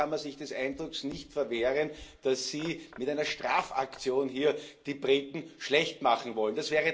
Auch hier kann man sich des Eindrucks nicht erwehren, dass Sie mit einer Strafaktion hier die Briten schlecht machen wollen.